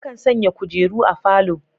Akan sanya kujeru a falo.